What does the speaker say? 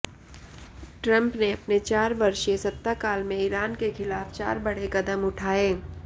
Trump ने अपने चार वर्षीय सत्ता काल में ईरान के ख़िलाफ चार बड़े क़दम उठाए